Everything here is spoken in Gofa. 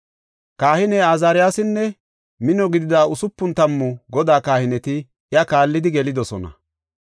Kahiney Azaariyasinne mino gidida hospun tammu Godaa kahineti iya kaallidi gelidosona.